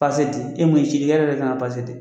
di e min ye yɛrɛ de kan ka di.